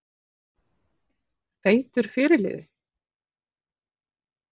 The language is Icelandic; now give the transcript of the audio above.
Feitur fyrirliði?